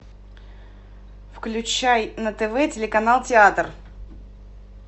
включай на тв телеканал театр